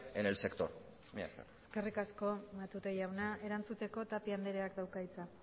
en el sector mila esker eskerrik asko matute jauna erantzuteko tapia andereak dauka hitza